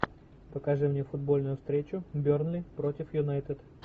покажи мне футбольную встречу бернли против юнайтед